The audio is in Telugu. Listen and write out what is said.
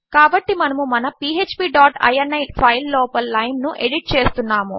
కాబట్టి మనము మన పీఎచ్పీ డాట్ ఇని ఫైల్ లోపలి లైన్ ను ఎడిట్ చేస్తున్నాము